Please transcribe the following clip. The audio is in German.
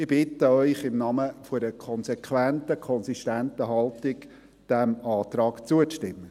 Ich bitte Sie im Namen einer konsequenten, konsistenten Haltung, diesem Antrag zuzustimmen.